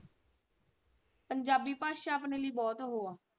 ਪੰਜਾਬੀ ਭਾਸ਼ਾ ਆਪਣੇ ਲਈ ਬਹੁਤ ਉਹ ਆ।